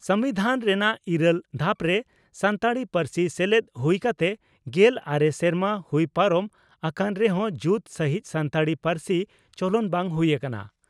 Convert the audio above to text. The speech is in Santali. ᱥᱚᱢᱵᱤᱫᱷᱟᱱ ᱨᱮᱱᱟᱜ ᱤᱨᱟᱹᱞ ᱫᱷᱟᱯᱨᱮ ᱥᱟᱱᱛᱟᱲᱤ ᱯᱟᱹᱨᱥᱤ ᱥᱮᱞᱮᱫ ᱦᱩᱭ ᱠᱟᱛᱮ ᱜᱮᱞ ᱟᱨᱮ ᱥᱮᱨᱢᱟ ᱦᱩᱭ ᱯᱟᱨᱚᱢ ᱟᱠᱟᱱ ᱨᱮᱦᱚᱸ ᱡᱩᱛ ᱥᱟᱹᱦᱤᱡ ᱥᱟᱱᱛᱟᱲᱤ ᱯᱟᱹᱨᱥᱤ ᱪᱚᱞᱚᱱ ᱵᱟᱝ ᱦᱩᱭ ᱟᱠᱟᱱᱟ ᱾